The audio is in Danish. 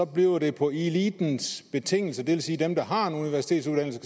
bliver det på elitens betingelser det vil sige at dem der har en universitetsuddannelse